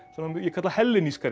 ég kalla